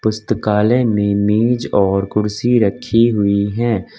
पुस्तकालय में मेज और कुर्सी रखी हुई है।